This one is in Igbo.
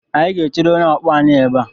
Anyị ga-echere onye ọkpọ anyị ebe a.